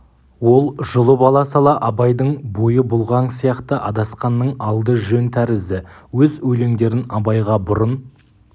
ол жұлып ала сала абайдың бойы бұлғаң сияқты адасқанның алды жөн тәрізді өз өлеңдерін абайға бұрын